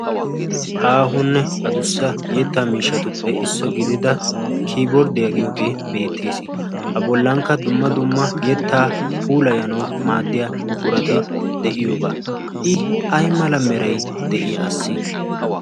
Aahonne addussa yetta miishshatuppe issuwa gidida kibbordiyaa giyooge beettees. A bollankka dumma dumma yettaa puulayanaw maaddiya buqurati de'iyooga. I ay mala meray de'i assi?